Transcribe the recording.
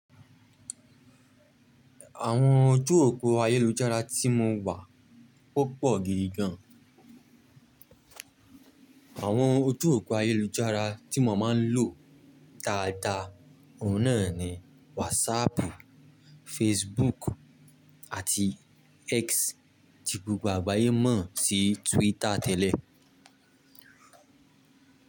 Àwọn ojú òpó ayélujára tí mo wà o pọ̀ gidi gan. Àwọn ojú òpó ayélujára tí mo máa ń lò dáadáa, òun náà ni WhatsApp, Facebook àti X, ti gbogbo agbáye mọ̀ sí Twitter tẹ́lẹ̀.